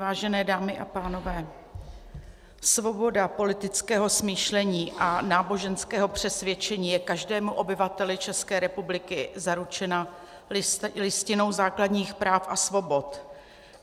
Vážené dámy a pánové, svoboda politického smýšlení a náboženského přesvědčení je každému obyvateli České republiky zaručena Listinou základních práv a svobod.